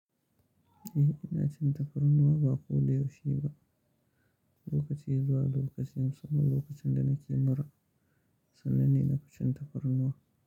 Eh ina cin tafarnuwa ba ko da yaushe ba, lokaci zuwa lokaci musamman lokacin da nake mura sannan ina cin tafarnuwa.